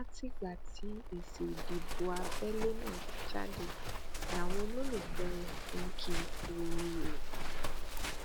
látìgbà tí èsì ìdìbò abẹlé náà ti jáde làwọn olólùfẹ rẹ tí n kì í kú oríire